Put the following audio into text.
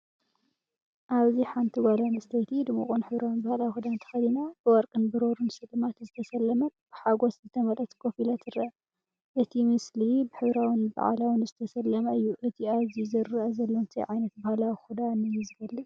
ኣብዚ ሓንቲ ጓል ኣንስተይቲ፡ ድሙቕን ሕብራዊን ባህላዊ ክዳን ተኸዲና፡ ብወርቂን ብሩርን ስልማት ዝተሰለመት፡ ብሓጎስ ዝተመልአት ኮፍ ኢላ ትርአ። እቲ ምስሊ ብሕብራዊን በዓላውን ዝተሰለመ እዩ። እቲ ኣብዚ ዝረአ ዘሎ እንታይ ዓይነት ባህላዊ ክዳን እዩ ዝገልጽ?